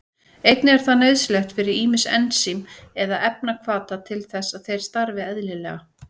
Einnig er það nauðsynlegt fyrir ýmis ensím eða efnahvata til þess að þeir starfi eðlilega.